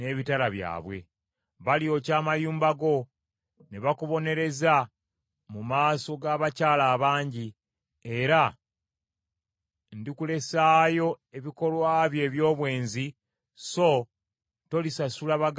Balyokya amayumba go ne bakubonereza mu maaso g’abakyala abangi, era ndikulesaayo ebikolwa byo eby’obwenzi so tolisasula baganzi bo mpeera.